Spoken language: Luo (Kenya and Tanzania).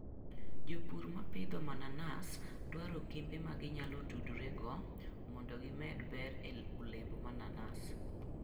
Jopur ma pidho mananas dwaro kembe ma ginyalo tudrego mondo gimed ber e olemb mananas.